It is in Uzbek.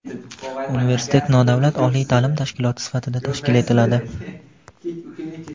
Universitet nodavlat oliy taʼlim tashkiloti sifatida tashkil etiladi.